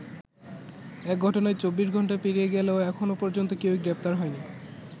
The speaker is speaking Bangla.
এ ঘটনায় ২৪ ঘন্টা পেরিয়ে গেলেও এখনো পর্যন্ত কেউই গ্রেপ্তার হয়নি।